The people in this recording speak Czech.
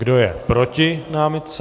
Kdo je proti námitce?